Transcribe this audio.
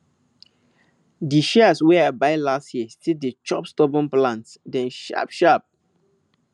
di shears wey i buy last year still dey chop stubborn plant dem sharp sharp